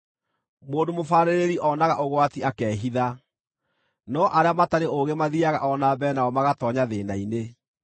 Mũndũ mũbaarĩrĩri onaga ũgwati akehitha, no arĩa matarĩ ũũgĩ mathiiaga o na mbere nao magatoonya thĩĩna-inĩ.